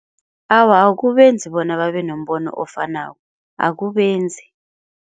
Awa, akubenzi bona babe nombono ofanako akubenzi.